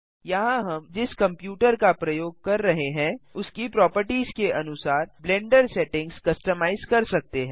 यहाँ हम जिस कंप्यूटर का प्रयोग कर हैं उसकी प्रोपर्टिज के अनुसार ब्लेंडर सेटिंग्स कस्टमाइज कर सकते हैं